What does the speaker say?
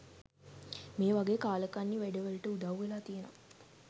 මේ වගේ කාලකන්නි වැඩ වලට උදව් වෙලා තියෙනවා